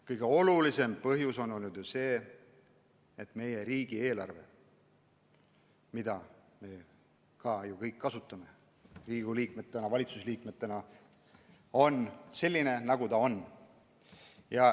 Kõige olulisem põhjus on olnud see, et meie riigieelarve, mida me ju kõik kasutame, ka Riigikogu liikmed ja valitsuse liikmed, on selline, nagu ta on.